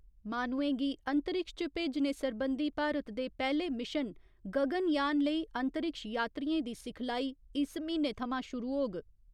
माह्नुऐं गी अंतरिक्ष च भेजने सरबंधी भारत दे पैह्‌ले मिशन गगनयान लेई अंतरिक्ष यात्रियें दी सिखलाई इस म्हीने थमां शुरु होग।